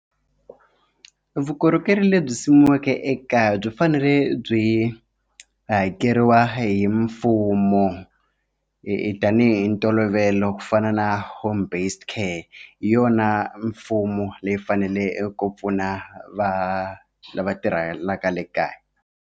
Vukorhokeri lebyi simekiweke ekaya byi fanele byi hakeriwa hi mfumo hi tanihi ntolovelo ku fana na home based care hi yona mfumo leyi fanele ku pfuna va lava tirhelaka le kaya.